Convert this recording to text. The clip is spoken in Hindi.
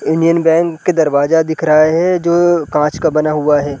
यूनियन बैंक का दरवाजा दिख रहा है जो कांच का बना हुआ है ।